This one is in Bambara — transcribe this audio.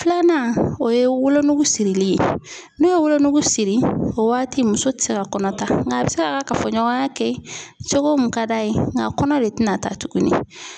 Filanan o ye wolonugu sirili ye n'o ye wolonugu siri o waati muso tɛ se ka kɔnɔ ta nka a bɛ se ka kafoɲɔgɔnya kɛ cogo mun ka d'a ye nka kɔnɔ de tina taa tuguni.